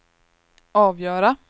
avgöra